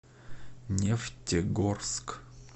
нефтегорск